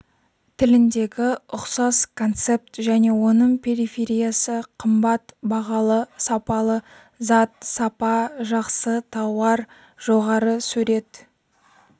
тіліндегі ұқсас концепт және оның перифериясы қымбат бағалы сапалы зат сапа жақсы тауар жоғары сурет